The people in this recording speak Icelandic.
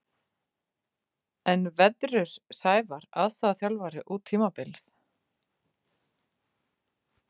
En veðrur Sævar aðstoðarþjálfari út tímabilið?